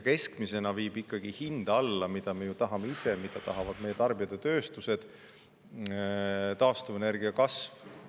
Keskmisena viib hinda alla, mida me tahame kõik, mida tahavad meie tarbijad ja tööstused, taastuvenergia kasv.